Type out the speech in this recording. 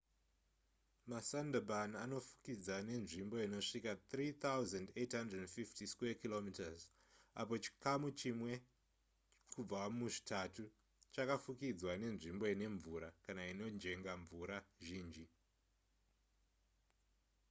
masundarban anofukidza nzvimbo inosvika 3,850km2 apo chikamu chimwe kubva muzvitatu chakafukidzwa nenzimbo ine mvura/inojenga mvura zhinji